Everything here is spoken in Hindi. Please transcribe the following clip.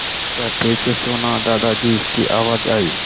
सत्या ठीक से सोना दादाजी की आवाज़ आई